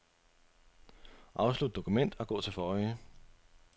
Afslut dokument og gå til forrige.